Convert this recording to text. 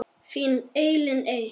Þín Elín Eir.